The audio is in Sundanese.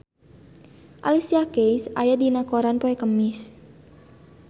Alicia Keys aya dina koran poe Kemis